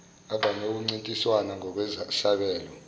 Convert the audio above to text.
avame ukuncintisana ngokwesabelo